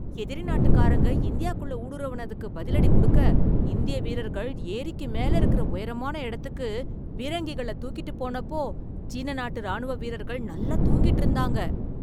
எதிரி நாட்டுக்காரங்க இந்தியாக்குள்ள ஊடுருவுனதுக்கு பதிலடி கொடுக்க, இந்திய வீரர்கள் ஏரிக்கு மேல இருக்குற உயரமான இடத்துக்கு பீரங்கிகளை தூக்கிட்டு போனப்போ சீன நாட்டு ராணுவ வீரர்கள் நல்லா தூங்கிட்டு இருந்தாங்க.